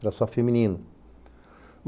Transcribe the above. Era só feminino.